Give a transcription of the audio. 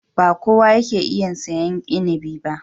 Ba kowa yake iya sayen inibi ba.